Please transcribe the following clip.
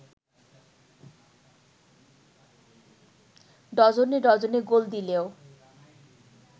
ডজনে ডজনে গোল দিলেও